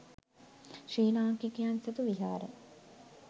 ශ්‍රී ලාංකිකයන් සතු විහාර